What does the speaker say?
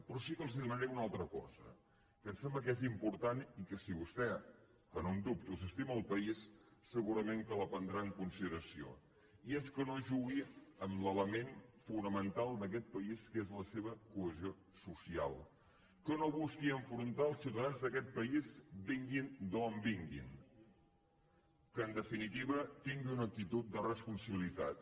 però sí que els demanaré una altra cosa que em sem·bla que és important i que si vostè que no en dubto s’estima el país segurament que la prendrà en consi·deració i és que no jugui amb l’element fonamental d’aquest país que és la seva cohesió social que no busqui enfrontar els ciutadans d’aquest país vinguin d’on vinguin que en definitiva tingui una actitud de responsabilitat